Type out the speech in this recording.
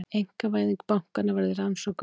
Einkavæðing bankanna verði rannsökuð